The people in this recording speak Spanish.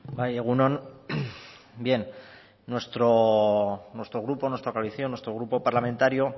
bai egun on bien nuestro grupo nuestra coalición nuestro grupo parlamentario